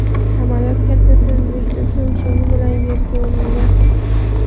Samolyot katta tezlikda tumshug‘i bilan yerga urilgan.